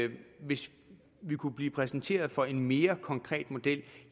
hvis vi kunne blive præsenteret for en mere konkret model